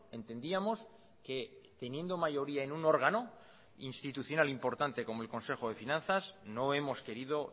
entendíamos que teniendo mayoría en un órgano institucional importante como el consejo de finanzas no hemos querido